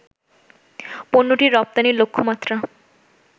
পণ্যটির রপ্তানি লক্ষ্যমাত্রা